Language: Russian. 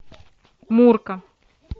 мурка